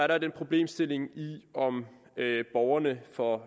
der den problemstilling om borgerne får